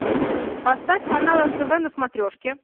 поставь канал нтв на смотрешке